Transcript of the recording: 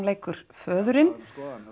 leikur föðurinn